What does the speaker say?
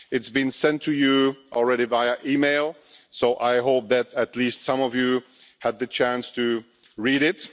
It's already been sent to you via email so I hope that at least some of you have had the chance to read it.